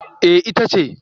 Eh ita ce